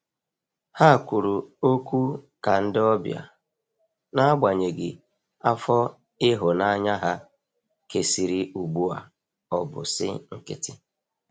Ha kwụrụ ọkwụ ka ndi ọbia, n'agbanyeghi afọ ihunanya ha kesịrị ugbu a ọbụ si nkitị